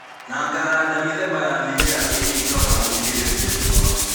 Na ngahanda mĩthemba ya mĩmera ĩrĩa ĩngĩhota gũkirĩrĩria riũa